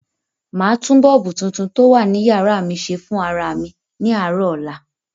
Màá tún bọ́ọ̀bù tuntun tó wà ní yàrá mi se fún ara mi ní àárọ̀ ọ̀la.